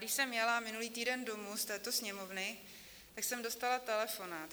Když jsem jela minulý týden domů z této Sněmovny, tak jsem dostala telefonát.